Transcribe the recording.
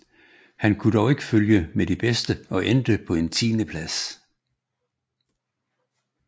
Han kunne dog ikke følge med de bedste og endte på en tiendeplads